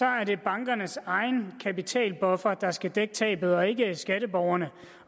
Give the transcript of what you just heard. er det bankernes egen kapitalbuffer der skal dække tabet og ikke skatteborgerne